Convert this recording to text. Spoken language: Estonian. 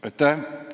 Aitäh!